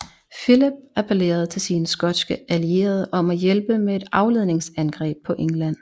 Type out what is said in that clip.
Philip appellerede til sine skotske allierede om at hjælpe med et afledningsangreb på England